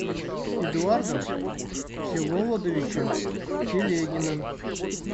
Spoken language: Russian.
эдуардом всеволодовичем телегиным